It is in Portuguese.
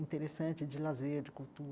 Interessante de lazer, de